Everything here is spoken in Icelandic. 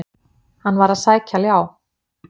Hann var að sækja ljá.